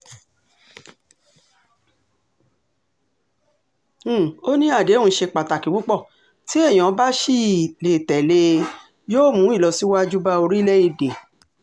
um ó ní àdéhùn ṣe pàtàkì púpọ̀ tí èèyàn bá ṣì um lè tẹ̀lé e yóò mú ìlọsíwájú bá orílẹ̀-èdè